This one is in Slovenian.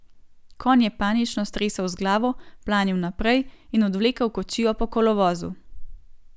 Konj je panično stresel z glavo, planil naprej in odvlekel kočijo po kolovozu.